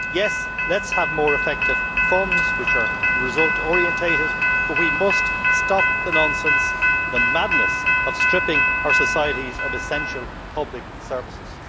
Yes, let us have more effective funds which are result orientated, but we must stop the nonsense, the madness of stripping our societies of essential public services.